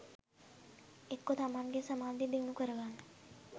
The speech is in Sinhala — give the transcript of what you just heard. එක්කො තමන්ගේ සමාධිය දියුණු කරගන්න